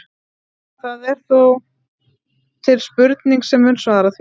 Það er þó til spurning sem mun svara því.